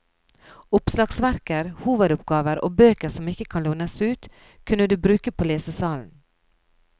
Oppslagsverker, hovedoppgaver og bøker som ikke kan lånes ut, kan du bruke på lesesalen.